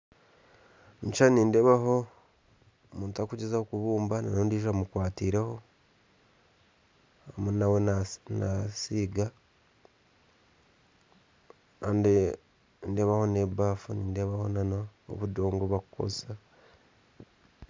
Omukyishani nindebaho omuntu arikugyezahoo kubumba nondijjo amuKwatireho arimu nawe nasi nasiiga, Kandi nindebaho nebaffu nindebaho nana obudongo obu bakukozesa